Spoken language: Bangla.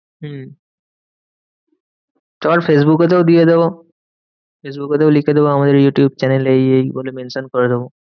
হম তারপর ফেসবুকে তেও দিয়ে দেব। ফেসবুকে তেও লিখে দেব আমাদের ইউটিউব channel এ এই এই বলে mention করে দেব।